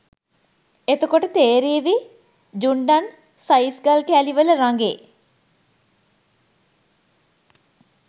එතකොට තේරේවි ජුන්ඩන් සයිස් ගල් කෑලි වල රඟේ